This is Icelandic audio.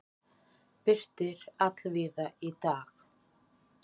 Birtir allvíða í dag